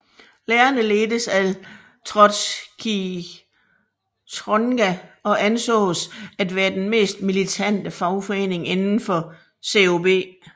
Lærerne ledtes af Trotskijtrogna og ansås at være den mest militante fagforening inden for COB